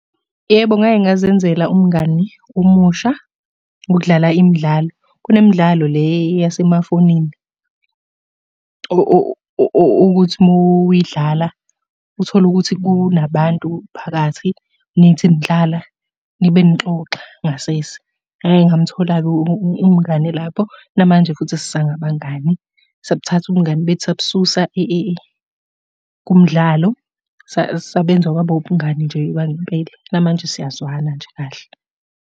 Yebo, ngake ngazenzela umngani omusha ngokudlala imidlalo. Kunemidlalo le yasemafonini, okuthi uma uyidlala uthole ukuthi kunabantu phakathi, nithi nidlala nibe nixoxa ngasese. Ngake ngamthola-ke umngani lapho, namanje futhi sisangabangani. Sabuthatha ubungani bethu sabususa kumdlalo, sasebenza kwaba ubungani nje bangempela, namanje siyazwana nje kahle.